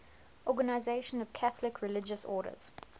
organisation of catholic religious orders